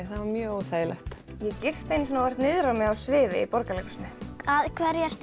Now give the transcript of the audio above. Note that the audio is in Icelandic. það var mjög óþægilegt ég girti einu sinni óvart niður um mig á sviði í Borgarleikhúsinu af hverju ertu